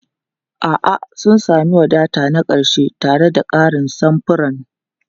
A'a, sun sami wadata na ƙarshe tare da ƙarin samfuran.